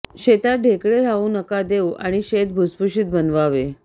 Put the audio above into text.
शेतात ढेकळे राहू नका देऊ आणि शेत भुसभूशीत बनवावे